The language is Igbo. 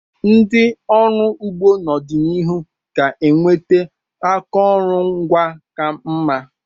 Ndị ọrụ ugbo n'ọdịnihu ga-enweta akụrụngwa ka mma.